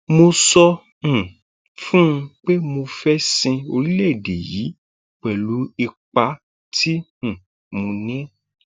mo sọ um fún un pé mo fẹẹ sin orílẹèdè yìí pẹlú ipa tí um mo ní